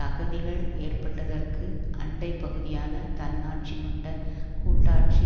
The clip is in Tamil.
அகதிகள் ஏற்பட்டதற்கு அண்டைப் பகுதியான தன்னாட்சி கொண்ட கூட்டாட்சி